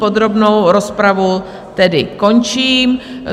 Podrobnou rozpravu tedy končím.